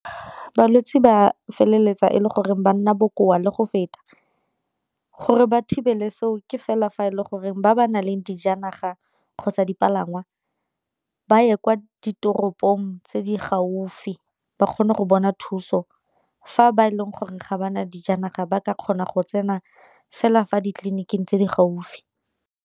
Balwetse ba feleletsa e le goreng ba nna bokoa le go feta, gore ba thibele seo ke fela fa e le goreng ba ba nang le dijanaga kgotsa dipalangwa ba a ye kwa ditoropong tse di gaufi ba kgone go bona thuso, fa ba e leng gore ga ba na dijanaga ba ka kgona go tsena fela fa ditleliniking tse di gaufi.